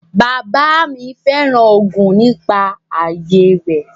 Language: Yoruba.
Bàbáà mi féràn oògùn nígbà ayé rẹ.